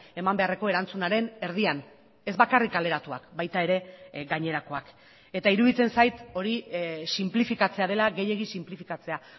eman beharreko erantzunaren erdian ez bakarrik kaleratuak baita ere gainerakoak eta iruditzen zait hori sinplifikatzea dela gehiegi sinplifikatzea